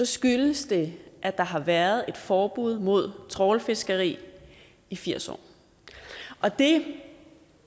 skyldes det at der har været et forbud mod trawlfiskeri i firs år og det